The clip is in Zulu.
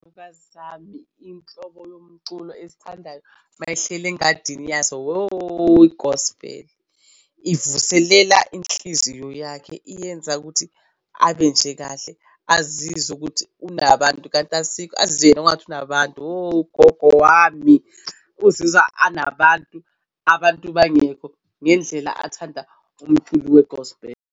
Angikazami inhlobo yomculo ezithandayo mayehleli engadini yazo i-gospel ivuselela inhliziyo yakhe iyenza ukuthi abe nje kahle azizwe ukuthi unabantu kanti asikho engathi unabantu ugogo wami uzizwa anabantu. Abantu bangekho ngendlela athanda umculo we-gospel.